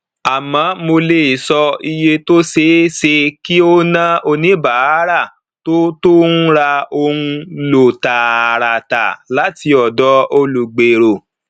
àmọ mo lè sọ iye tó ṣeé ṣe kí ó ná oníbàárà tó tó ń ra ohun ló tààràtà láti ọdọ olùgbéró